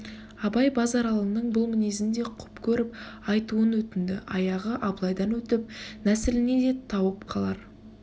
абай базаралының бұл мінезін де құп көріп айтуын өтінді аяғы абылайдан өтіп нәсіліне де тауап қылар